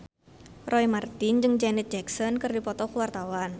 Roy Marten jeung Janet Jackson keur dipoto ku wartawan